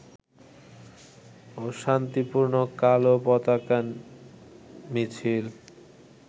ও শান্তিপূর্ণ কালো পতাকা মিছিল